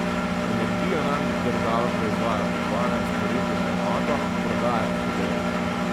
Energijo namreč država proizvaja po dvanajst rupij na enoto, prodaja pa po devet.